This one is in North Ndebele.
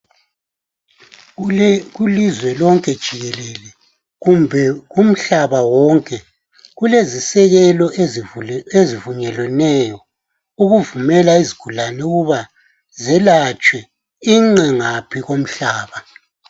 Kilizwe lonke jikelele kumbe kumhlaba wonke kulezisekelo ezivunyeleneyo ukuvumela izigulane ukuthi zelatshwa inqe ngaphi komhlaba